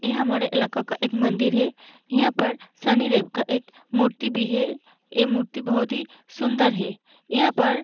यहाँ हमारे इलाका का एक मंदिर है यहाँ पर शानिदेव का एक मूर्ति भी है यह मूर्ति बहुत ही सुन्दर है यहाँ पर --